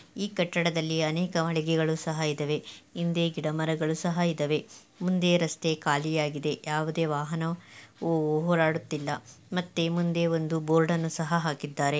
ಈ ಕಟ್ಟಡದಲ್ಲಿ ಅನೇಕ ಮಳಿಗೆಗಳು ಸಹ ಇದಾವೆ. ಹಿಂದೆ ಗಿಡ ಮರಗಳು ಸಹ ಇದಾವೆ. ಮುಂದೆ ರಸ್ತೆ ಖಾಲಿಯಾಗಿದೆ ಯಾವುದೇ ವಾಹನವು ಓಡಾಡುತ್ತಿಲ್ಲ ಮತ್ತೆ ಮುಂದೆ ಒಂದು ಬೋರ್ಡ್ ಅನ್ನು ಸಹ ಹಾಕಿದ್ದಾರೆ.